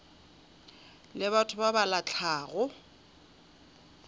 le batho ba ba lahlago